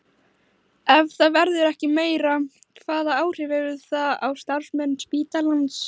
Ef það verður ekki meira, hvaða áhrif hefur það á starfsemi spítalans?